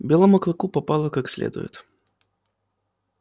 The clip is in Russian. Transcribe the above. белому клыку попало как следует